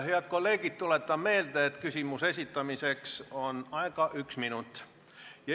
Head kolleegid, tuletan meelde, et küsimuse esitamiseks on aega üks minut.